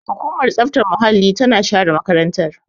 Hukumar tsaftar muhalli tana share makarantar.